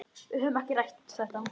Við höfum ekki rætt þetta.